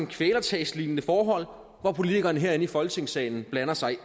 kvælertagslignende forhold hvor politikerne her i folketingssalen blander sig